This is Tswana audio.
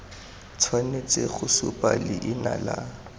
tshwanetse go supa leina la